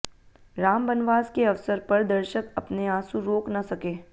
राम बनवास के अवसर पर दर्शक अपने आंसू रोक न सके